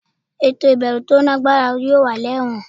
Eto ibẹwo to lagbara yoo wa ni Ẹwọn